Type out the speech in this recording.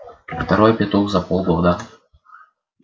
второй петух за полгода